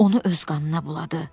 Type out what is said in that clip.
Onu öz qanına buladı.